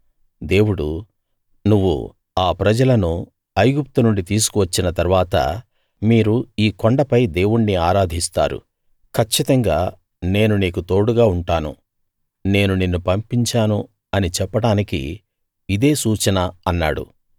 దేవుడు నువ్వు ఆ ప్రజలను ఐగుప్తు నుండి తీసుకు వచ్చిన తరువాత మీరు ఈ కొండపై దేవుణ్ణి ఆరాధిస్తారు కచ్చితంగా నేను నీకు తోడుగా ఉంటాను నేను నిన్ను పంపించాను అని చెప్పడానికి ఇదే సూచన అన్నాడు